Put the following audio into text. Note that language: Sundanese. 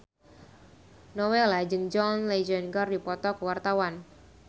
Nowela jeung John Legend keur dipoto ku wartawan